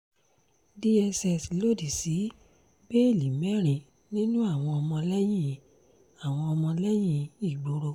dss lòdì sí bẹ́ẹ́lí mẹ́rin nínú àwọn ọmọlẹ́yìn àwọn ọmọlẹ́yìn ìgboro